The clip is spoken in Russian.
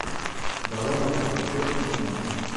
давай я посмотрю аниме